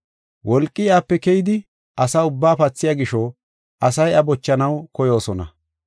Wolqi iyape keyidi asa ubbaa pathiya gisho asay iya bochanaw koyoosona.